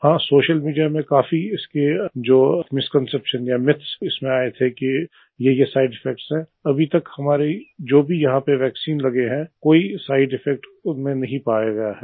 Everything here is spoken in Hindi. हां सोशल मीडिया में काफी इसके जो मिसकॉन्सेप्शन या मिथ्स हैं इसमें आये थे कि येये साइड इफेक्ट हैं अभी तक हमारे जो भी यहाँ पर वैक्सीन लगे हैं कोई साइड इफेक्ट उनमें नहीं पाया गया है